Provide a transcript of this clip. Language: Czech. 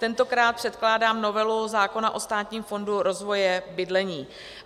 Tentokrát předkládám novelu zákona o Státním fondu rozvoje bydlení.